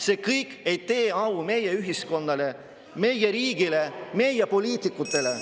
See kõik ei tee au meie ühiskonnale, meie riigile, meie poliitikutele …